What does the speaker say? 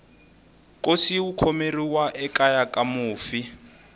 nkosi wu khomeriwa ekeya ka mufi